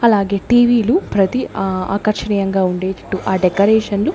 అలాగే T V లు ప్రతీ ఆ ఆకర్షణీయంగా ఉండేటట్టు ఆ డెకరేషన్లు --